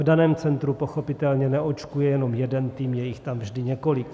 V daném centru pochopitelně neočkuje jenom jeden tým, je jich tam vždy několik.